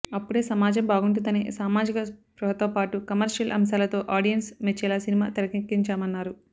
అప్పుడే సమాజం బాగుంటుందనే సామాజిక స్పృహతోపాటు కమర్షియల్ అంశాలతో ఆడియన్స్ మెచ్చేలా సినిమా తెరకెక్కించామన్నారు